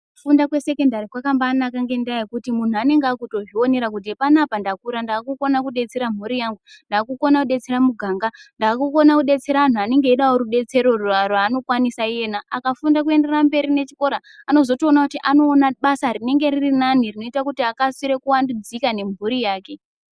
Kufunda kwesekondari kwakambaanaka ngenda yekuti munhu anenge akutozvionera kuti panapa ndakura ndakukona kudetsera mhuri yangu ndakukona kudetsera muganga ndakukona kudetsera anhu anonga eida rubetsero rwaanokwanisa iena ,akafunda kuzoenda mberi nechikora anozotoona kuti anoona basa rinenge riri nani rinoita kuti akasire kuvambudzika nemhuri yake.